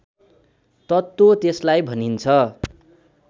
तत्त्व त्यसलाई भनिन्छ